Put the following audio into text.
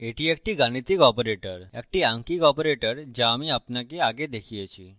এটি একটি গাণিতিক operatorএকটি আঙ্কিক operator যা আমি আপনাকে আগে দেখিয়েছি